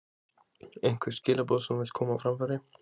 Einhver skilaboð sem þú vilt koma á framfæri?